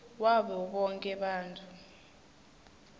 wabo bonkhe bantfu